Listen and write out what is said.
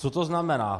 Co to znamená?